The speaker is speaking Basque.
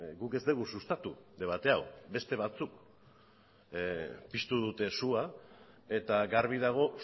guk ez dugu sustatu debate hau beste batzuk piztu dute sua eta garbi dago